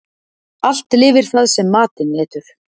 Allt lifir það sem matinn etur.